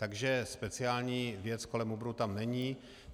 Takže speciální věc kolem Uberu tam není.